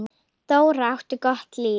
Dóri átti gott líf.